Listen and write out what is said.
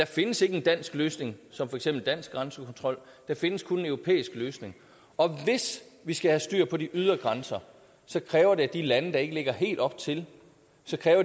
findes en dansk løsning som for eksempel dansk grænsekontrol der findes kun en europæisk løsning og hvis vi skal have styr på de ydre grænser kræver det at de lande der ikke ligger helt op til